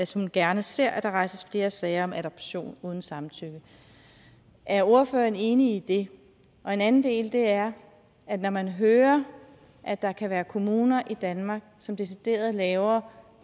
som gerne ser at der rejses flere sager om adoption uden samtykke er ordføreren enig i det en anden del er at man hører at der kan være kommuner i danmark som decideret laver